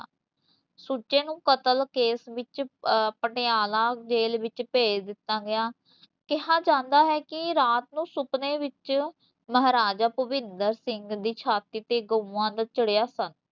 ਸੁੱਚੇ ਨੂੰ ਕਤਲ ਕੇਸ ਵਿੱਚ ਪਟਿਆਲਾ ਜੇਲ ਵਿਚ ਭੇਜ ਦਿਤਾ ਗਿਆ ਕਿਹਾ ਜਾਂਦਾ ਹੈ ਕੀ ਰਾਤ ਨੂੰ ਸੁਪਨੇ ਵਿੱਚ ਮਹਾਰਾਜਾ ਭੁਪਿੰਦਰ ਸਿੰਘ ਦੀ ਛਾਤੀ ਤੇ ਗਊਆ ਦਾ ਚੜਿਆ ਸਨ